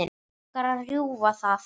Mig langar að rjúfa það.